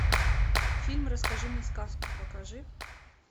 фильм расскажи мне сказку покажи